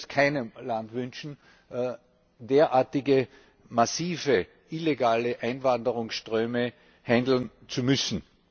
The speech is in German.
Ich würde es keinem Land wünschen, derartige massive illegale Einwanderungsströme bewältigen zu müssen.